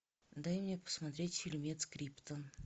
дай мне посмотреть фильмец криптон